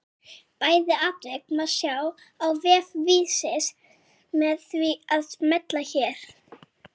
Bæði atvik má sjá á vef Vísis með því að smella hér.